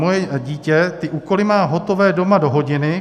Moje dítě ty úkoly má doma hotové do hodiny.